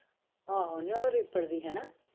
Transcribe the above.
ਆਹੋ ਨਹੀਂ ਉਹ ਰੀਪੜ ਦੀ ਹਨਾ